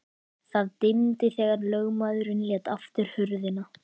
Það dimmdi þegar lögmaðurinn lét aftur hurðina.